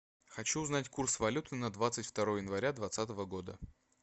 хочу узнать курс валюты на двадцать второе января двадцатого года